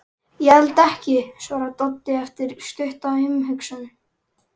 Ég held ekki, svarar Doddi eftir stutta umhugsun.